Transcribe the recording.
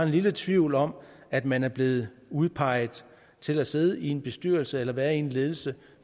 lille tvivl om at man er blevet udpeget til at sidde i en bestyrelse eller være i en ledelse